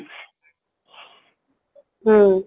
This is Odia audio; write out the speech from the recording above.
ହୁଁ